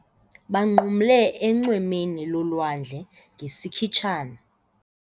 Banqumle enxwemeni lolwandle ngesikhitshana.